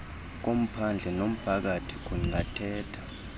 komphandle nomphakathi kungathetha